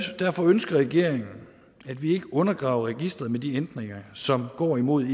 derfor ønsker regeringen at vi ikke undergraver registeret med de ændringer som går imod